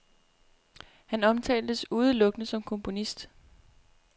Han omtales udelukkende som komponist.